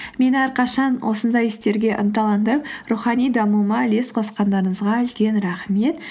мені әрқашан осындай істерге ынталандырып рухани дамуыма үлес қосқандарыңызға үлкен рахмет